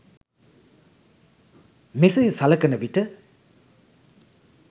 මෙසේ සලකනවිට